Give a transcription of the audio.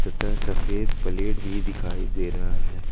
तथा सफेद प्लेट भी दिखाई दे रहा है।